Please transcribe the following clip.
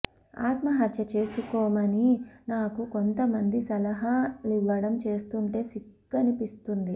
ఆత్మహత్య చేసుకోమని నాకు కొంత మంది సల హాలివ్వడం చూస్తుంటే సిగ్గనిపిస్తుంది